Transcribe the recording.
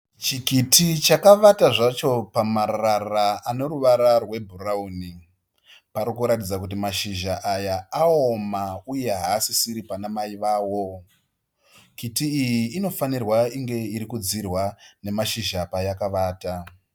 Chikiti chakavata zvacho pamarara ane ruvara rwebhurauni, parikuratidza kuti mashizha aya aoma uye haasisiri pana mai wavo, kiti iyi inofanirwa inge iri kudzirwa pane mashizha payakavata